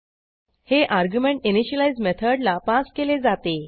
हे argument initialize मेथडला pass केले जाते